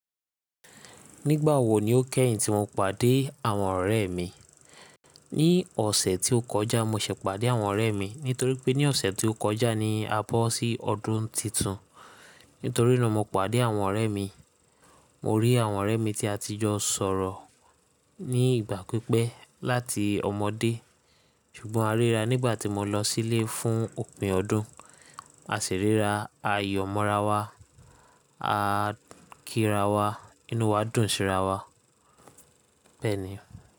Nígbà wo ni ó kẹ́yìn tí mo pàdé àwọn ọ̀rẹ́ mi? Ni ọ̀sẹ̀ tí ó kọjá mo sì pàdé àwọn ọ̀rẹ́ mi. Nítorí pé ní ọ̀sẹ̀ tí ó kọjá ni a bọ́ sí ọdún titun. Nítorí náà mo pàdé àwọn ọ̀rẹ́ mi. Mo rí àwọn ọ̀rẹ́ mi tí a ti jọ sọ̀rọ̀ ní ìgbà pípẹ́ láti ọmọdé. Ṣùgbọ́n a ríra nígbà tí mo lọ sílé fún òpin ọdún. A sì ríra a yọ̀ mọ ra wa, a kíra wa, inú wa dùn sí ra wa. Bẹ́ẹ̀ ni.